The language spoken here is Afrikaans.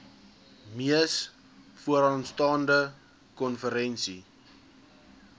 mees vooraanstaande konferensie